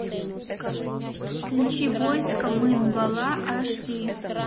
включи войско мын бала аш ди